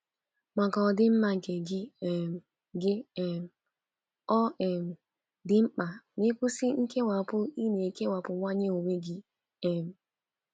Maka ọdịmma nke gị um gị um, ọ um dị mkpa ma ị kwụsị nkewapụ ị na - ekewapụwanye onwe gị. um